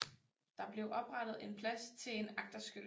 Der blev oprettet en plads til en agterskytte